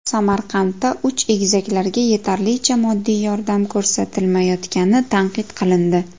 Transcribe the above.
Samarqandda uch egizaklarga yetarlicha moddiy yordam ko‘rsatilmayotgani tanqid qilindi.